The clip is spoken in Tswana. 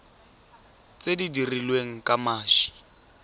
tse di dirilweng ka mashi